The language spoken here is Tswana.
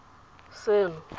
seno